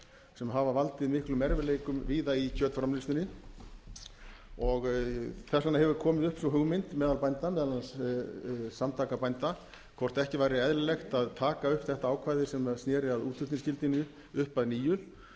sem hafa valdið miklum erfiðleikum víða í kjötframleiðslunni þess vegna hefur komið upp sú hugmynd meðal bænda meðal annars samtaka bænda hvort ekki væri eðlilegt að taka upp þetta ákvæði sem sneri að útflutningsskyldunni upp að nýju